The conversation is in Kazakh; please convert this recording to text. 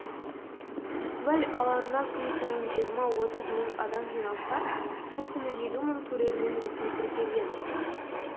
фестиваль алаңына күн сайын жиырма отыз мың адам жиналса сол күні елу мың көрермен ресми тіркелген